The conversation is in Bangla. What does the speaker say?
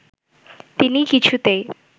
তিনি কিছুতেই